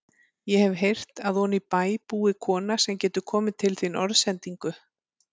Ég hef heyrt að oní bæ búi kona sem getur komið til þín orðsendingu.